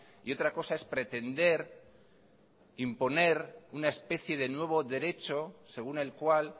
y otra cosa es pretender imponer una especie de nuevo derecho según el cual